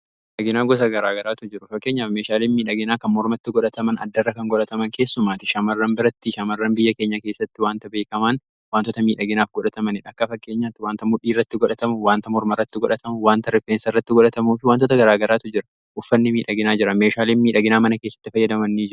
Dhaginaa gosa garaa garaatu jira fakkeenyaaf meeshaaliin miidhaginaa kan mormatti godhataman adda irra kan godhataman keessumaati shaamarran birattii shaamarran biyya keenya keessatti waanta beekamaan wantoota miidhaginaaf godhatamaniidha akka fakkeenya waanta mudhii iratti godhatamu waanta morma rratti godhatamu waanta rifeensa irratti godhatamuu fi wantoota garaa garaatu jira uffanni miidhaginaa jira meeshaaleen miidhaginaa mana keessatti fayyadaman.